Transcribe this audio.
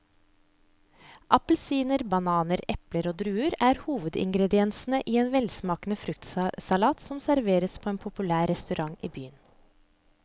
Appelsin, banan, eple og druer er hovedingredienser i en velsmakende fruktsalat som serveres på en populær restaurant i byen.